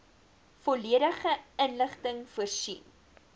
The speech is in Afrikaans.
volledige inligting voorsien